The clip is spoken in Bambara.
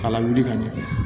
A lawuli ka ɲɛ